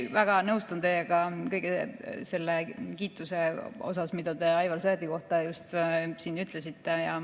Väga nõustun teiega kõige selle kiituse mõttes, mida te Aivar Sõerdi kohta just ütlesite.